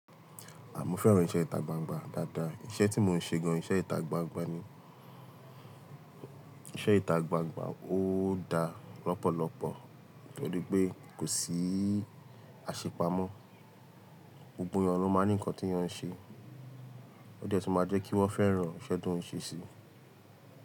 À mó fẹ́ràn iṣẹ́ ìta gbangba dáadáa. Iṣẹ́ tí mò ń ṣe gan iṣẹ́ ìta gbangba ni. Iṣẹ́ ìta gbangba ó da lọ́pọ̀lọpọ̀ nítorí pé kò sí àṣepamọ́. Gbogbo yàn ló máa ní ǹkan tí yàn ṣe. Ó jẹ́ tun máa jẹ́ kí wọ́n fẹ́ràn ìṣẹ́ tó ń ṣe síi.